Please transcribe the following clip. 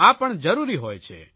આ પણ જરૂરી હોય છે